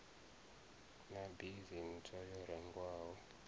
na bisi ntswa yo rengwaho